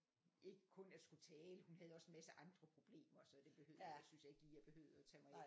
Ikke kun at skulle tale hun havde også en masse andre problemer så det behøvede jeg ikke det synes jeg ikke lige jeg behøvede at tage mig af